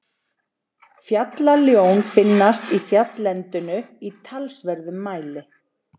Fjallaljón finnast í fjalllendinu í talsverðum mæli.